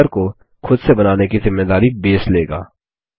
number को खुद से बनाने की ज़िम्मेदारी बेस लेगा